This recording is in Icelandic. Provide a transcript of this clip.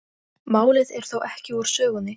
Málið er þó ekki úr sögunni.